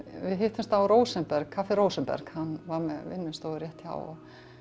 hittumst á Rósenberg kaffi Rósenberg hann var með vinnustofu rétt hjá